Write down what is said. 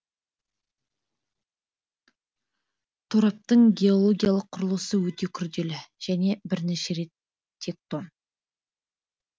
тораптың геологиялық құрылысы өте күрделі және бірнеше рет тектон